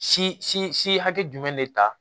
Si si si hakɛ jumɛn de ta